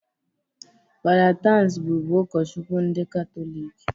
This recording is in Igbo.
Fada Tansi bụbu ukochukwu ndị Katọlik